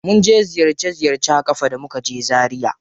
Mun je ziyarce ziyarce a ƙafa da muka je zaria.